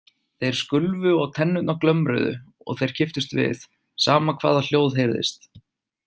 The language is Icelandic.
Þeir skulfu og tennurnar glömruðu og þeir kipptust við, sama hvaða hljóð heyrðist.